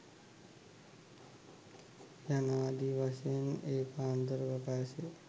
යනාදී වශයෙන් ඒකාන්ත ප්‍රකාශය